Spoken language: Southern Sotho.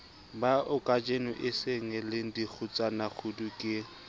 baokajeno e sengele dikgutsanakgudu ke